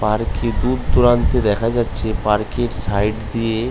park টির দূর দূরান্তে দেখা যাচ্ছে পার্ক টির সাইড দিয়ে--